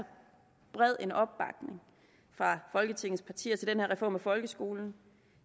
bred en opbakning fra folketingets partier til den her reform af folkeskolen